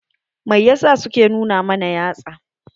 Mai yasa su ke nuna mana yatsa?